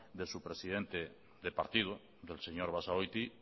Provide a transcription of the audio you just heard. de su presidente de partido del parlamentario señor basagoiti